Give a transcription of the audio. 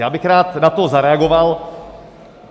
Já bych na to rád zareagoval.